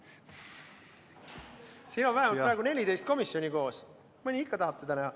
Siin on praegu vähemalt 14 komisjoni koos, mõni ikka tahab teda näha.